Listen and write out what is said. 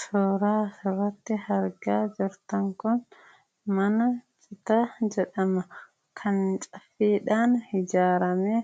Suuraan asirratti argaa jirtan kun mana Citaa jedhama. Kan citaadhaan ijaarame,